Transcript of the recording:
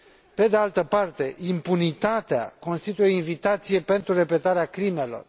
Pe de altă parte, impunitatea constituie invitație pentru repetarea crimelor.